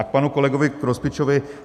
A k panu kolegovi Grospičovi.